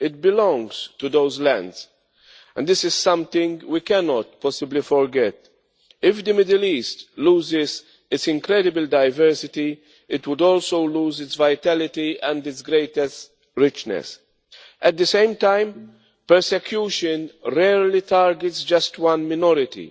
it belongs to those lands, and this is something we cannot possibly forget. If the Middle East loses its incredible diversity, it would also lose its vitality and its greatest richness. At the same time, persecution rarely targets just one minority.